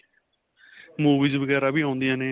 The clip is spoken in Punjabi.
movies ਵਗੈਰਾ ਵੀ ਆਉਂਦਿਆ ਨੇ.